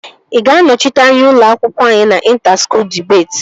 Ị ga-anọchite anya ụlọ akwụkwọ anyị na inta skuul dibeti?